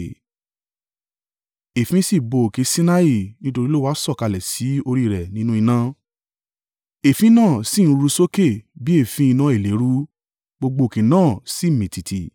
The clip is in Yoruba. Èéfín sì bo òkè Sinai nítorí Olúwa sọ̀kalẹ̀ sí orí rẹ̀ nínú iná. Èéfín náà sì ń ru sókè bí èéfín iná ìléru, gbogbo òkè náà sì mì tìtì.